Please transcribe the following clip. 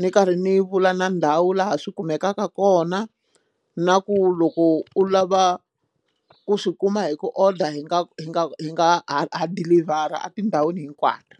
ni karhi ni vula na ndhawu laha swi kumekaka kona na ku loko u lava ku swi kuma hi ku order hi nga hi nga hi nga ha ha dilivhara atindhawini hinkwato.